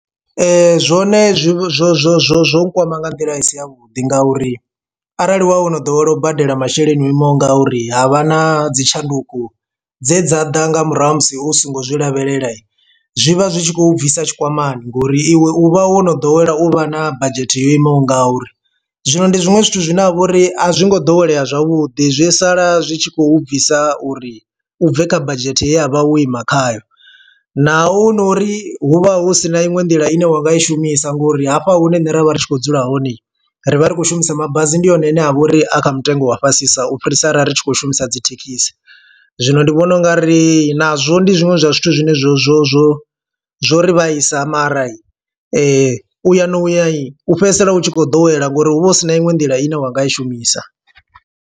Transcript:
Zwone zwo zwo zwo zwo zwo nkwama nga nḓila i si ya vhuḓi ngauri arali wa wono ḓowela u badela masheleni o imaho nga uri ha vha na dzi tshanduko dze dza ḓa nga murahu ha musi hu songo zwi lavhelela. Zwi vha zwi tshi khou bvisa tshikwamani ngori iwe u vha wo no ḓowela u vha na badzhethe yo imaho nga uri. Zwino ndi zwiṅwe zwithu zwine ha vha uri a zwi ngo ḓowelea zwavhuḓi zwi sala zwi tshi khou bvisa uri bve kha badzhete ye a vha wo ima khayo naho hu nori hu vha hu sina iṅwe nḓila ine wanga i shumisa ngori hafha hune nṋe ra vha ri tshi khou dzula hone ri vha ri khou shumisa mabasi. Ndi hone ane a vha uri a kha mutengo wa fhasisa u fhirisa arali ri tshi khou shumisa dzi thekhisi zwino ndi vhona u nga ri nazwo ndi zwiṅwe zwa zwithu zwine zwo zwo zwo zwo ri vhaisa mara u ya u ya u fhedzisela u tshi khou ḓowela ngori hu vha hu sina iṅwe nḓila ine wanga i shumisa.